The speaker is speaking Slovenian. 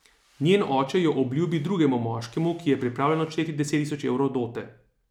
Njen oče jo obljubi drugemu moškemu, ki je pripravljen odšteti deset tisoč evrov dote...